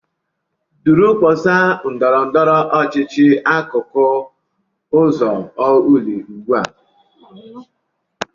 Duru mkpọsa ndọrọ ndọrọ ọchịchị n'akụkụ ụzọ Orlu ugbu a!